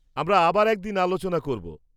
আমরা আবার একদিন আলোচনা করব।